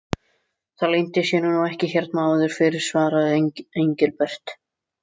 Það leyndi sér nú ekki hérna áður fyrr svaraði Engilbert.